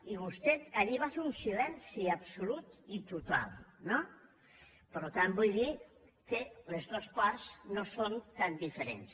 i vostè allí va fer un silenci absolut i total no per tant vull dir que les dos parts no són tan diferents